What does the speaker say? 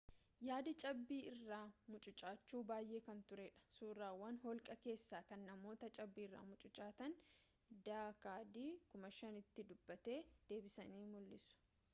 yaadi cabbii irra mucucaachuu baayee kan ture dha — suuraawwan holqa keessaa kan namoota cabbiirra mucucaatanii d.k.d 5000 tti duubatti deebisanii mul’isu!